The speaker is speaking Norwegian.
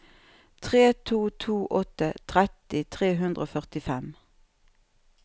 tre to to åtte tretti tre hundre og førtifem